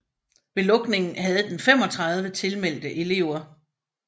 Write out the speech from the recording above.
Ved lukningen havde den 35 tilmeldte elever